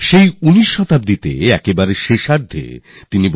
আর সেই সময় থেকে ১৯ শতাব্দীর এই শেষ ভাগের কথা